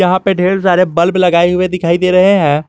यहां पे ढेर सारे बल्ब लगाए हुए दिखाई दे रहे हैं।